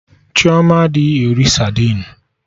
Chioma a ahụ eri sadin